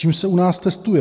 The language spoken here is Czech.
Čím se u nás testuje?